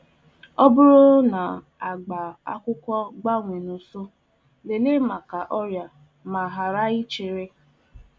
Ọbụrụ ụcha akwụkwọ osisi agbanwee na mberede, nyochaa ma ọ nwere ọrịa egbula nwere ọrịa egbula oge.